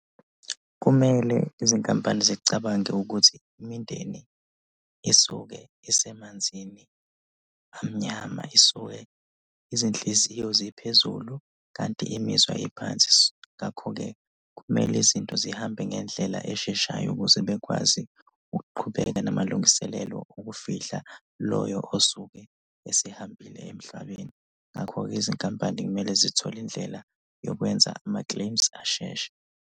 Kumele izinkampani zicabange ukuthi imindeni esuke isemanzini amnyama, isuke izinhliziyo ziphezulu kanti imizwa iphansi. Ngakho-ke kumele izinto zihambe ngendlela esheshayo ukuze bekwazi ukuqhubeka namalungiselelo ukufihla loyo osuke esehambile emhlabeni. Ngakho-ke izinkampani kumele zithole indlela yokwenza ama-claims asheshe.